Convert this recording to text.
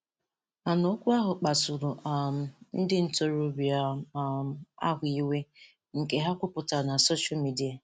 Mana okwu ahụ kpasuru um ndị ntorobịa um ahụ iwe nke ha kwupụtara na soshal midia.